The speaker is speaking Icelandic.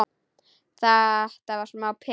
Þetta var smá peð!